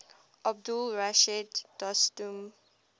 abdul rashid dostum